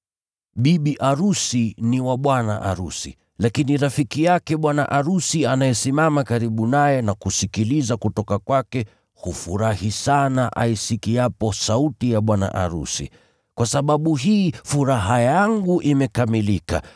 Bibi arusi ni wa bwana arusi. Lakini rafiki yake bwana arusi anayesimama karibu naye na kusikiliza kutoka kwake, hufurahi sana aisikiapo sauti ya bwana arusi. Kwa sababu hii furaha yangu imekamilika.